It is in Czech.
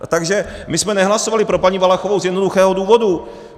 Takže my jsme nehlasovali pro paní Valachovou z jednoduchého důvodu.